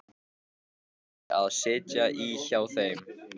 Ég fæ að sitja í hjá þeim.